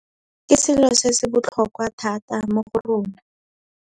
Ke selo se se botlhokwa thata mo go rona.